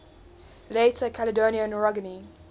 later caledonian orogeny